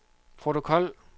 protokol